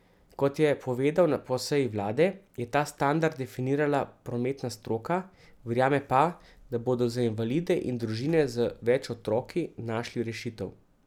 Kot je povedal po seji vlade, je ta standard definirala prometna stroka, verjame pa, da bodo za invalide in družine z več otroki našli rešitev.